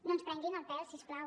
no ens prenguin el pèl si us plau